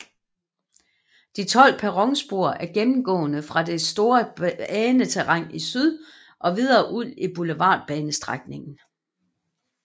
De 12 perronspor er gennemgående fra det store baneterræn i syd og videre ud i Boulevardbanestrækningen